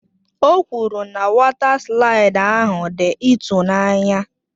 O kwuru na wọta slaịdị ahụ dị ịtụnanya.